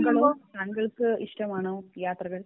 താങ്കൾ താങ്കൾക്ക് ഇഷ്ടമാണോ യാത്രകൾ